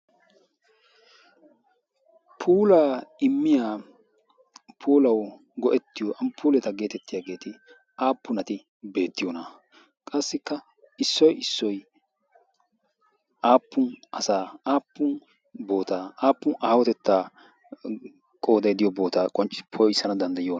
pulaa immiya pulau go77ettiyo amppuuleta geetettiyaageeti aappunati beettiyoona? qassikka issoi issoi aappun asaa aappun bootaa aappun aahotettaa qoodaidiyo bootaa qonccii poissana danddayona?